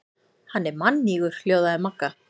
Hann er mannýgur hljóðaði Magga.